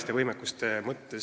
Aitäh, Margus Tsahkna!